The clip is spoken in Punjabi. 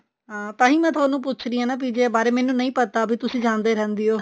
ਹਾਂ ਤਾਂਹੀ ਮੈਂ ਤੁਹਾਨੂੰ ਪੁੱਛ ਰਹੀ ਹਾਂ PGI ਬਾਰੇ ਮੈਨੂੰ ਨਹੀਂ ਪਤਾ ਵੀ ਤੁਸੀਂ ਜਾਂਦੇ ਰਹਿੰਦੇ ਹੋ